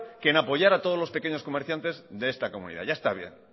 que en apoyar a todos los pequeños comerciantes de esta comunidad ya está bien